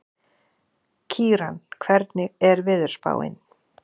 Kíran, hvernig er veðurspáin?